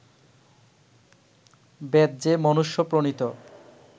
বেদ যে মনুষ্য-প্রণীত